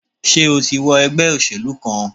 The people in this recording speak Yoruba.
Sé o ti wọ ègbé òṣèlú kan?